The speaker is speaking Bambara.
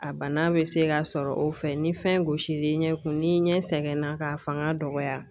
A bana be se ka sɔrɔ o fɛ ni fɛn gosil'i ɲɛ kun n'i ɲɛ sɛgɛn na k'a fanga dɔgɔya